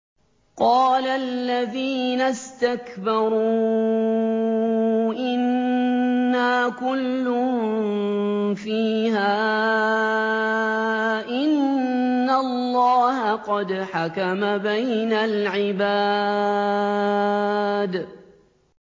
قَالَ الَّذِينَ اسْتَكْبَرُوا إِنَّا كُلٌّ فِيهَا إِنَّ اللَّهَ قَدْ حَكَمَ بَيْنَ الْعِبَادِ